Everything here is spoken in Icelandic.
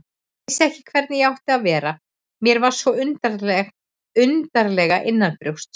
Vissi ekki hvernig ég átti að vera, mér var svo undarlega innanbrjósts.